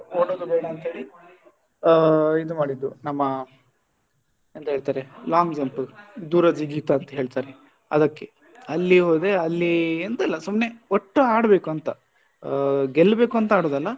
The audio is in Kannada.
ಓಡುದು ಬೇಡ ಅಂತ ಹೇಳಿ ಆ ಇದು ಮಾಡಿದ್ದು ನಮ್ಮ ಎಂತ ಹೇಳ್ತಾರೆ long jump ದೂರ ಜಿಗಿತ ಅಂತ ಹೇಳ್ತಾರೆ ಅದಕ್ಕೆ ಅಲ್ಲಿ ಹೋದೆ ಅಲ್ಲಿ ಎಂತ ಇಲ್ಲ ಸುಮ್ನೆ ಒಟ್ಟು ಆಡ್ಬೇಕೂಂತ ಆ ಗೆಲ್ಬೇಕು ಅಂತ ಆಡುದಲ್ಲ.